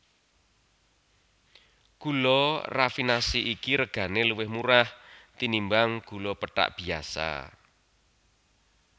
Gula rafinasi iki regané luwih murah tinimbang gula pethak biyasa